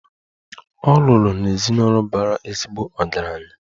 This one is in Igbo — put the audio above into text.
Ọ lụrụ n'ezinụlọ bara ezigbo ọgaranya.